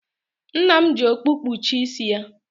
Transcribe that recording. Nna m ji okpu kpuchie isi ya.